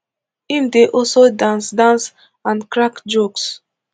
im dey also dance dance and crack jokes